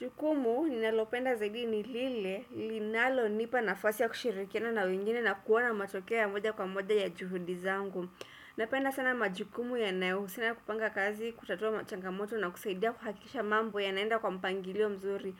Jukumu ninalopenda zaidi nilile, linalonipa nafasi ya kushirikiana na wengine na kuona matokea ya moja kwa moja ya juhudi zangu. Napenda sana majukumu yanayohusiana kupanga kazi, kutatua machangamoto na kusaidia kuhakisha mambo yanaenda kwa mpangilio mzuri.